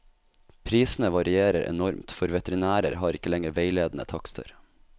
Prisene varierer enormt, for veterinærer har ikke lenger veiledende takster.